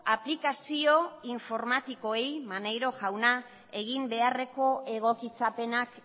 aplikazio informatikoei maneiro jauna egin beharreko egokitzapenak